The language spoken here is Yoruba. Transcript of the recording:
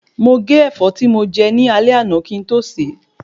Mo gé Ẹ̀fọ́ tí mo jẹ ní alé àná kín to se